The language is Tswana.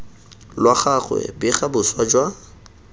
lwa gagwe bega boswa jwa